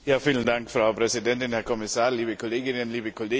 Frau Präsidentin, Herr Kommissar, liebe Kolleginnen und Kollegen!